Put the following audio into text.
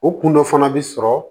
O kun dɔ fana bi sɔrɔ